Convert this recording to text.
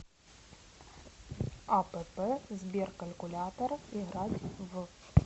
апп сбер калькулятор играть в